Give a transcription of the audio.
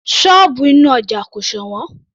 Sọ́ọ̀bù inú ọja kò sọ̀wọ́n